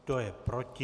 Kdo je proti?